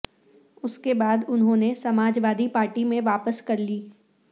اس کے بعد انہوں نے سماج وادی پارٹی میں واپسی کر لی